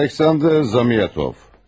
Aleksandr Zamyatov.